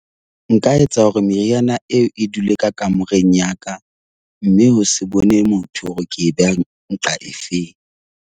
Nka etsa hore meriana eo e dule ka kamoreng ya ka mme ho se bone motho hore ke e beha nqa e feng.